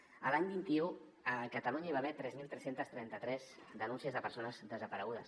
l’any dos mil vint u a catalunya hi va haver tres mil tres cents i trenta tres denúncies de persones desaparegudes